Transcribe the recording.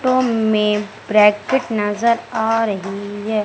में ब्रैकेट नजर आ रहीं हैं।